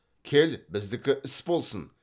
кел біздікі іс болсын